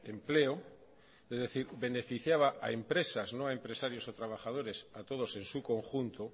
empleo es decir beneficiaba a empresas no a empresarios o trabajadores a todos en su conjunto